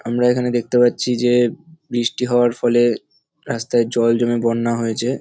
আমরা এখানে দেখতে পাচ্ছি যে বৃষ্টি হওয়ার ফলে রাস্তার জল জমে বন্যা হয়েছে।